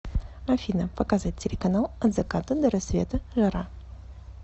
афина показать телеканал от заката до рассвета жара